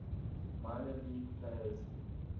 minor league players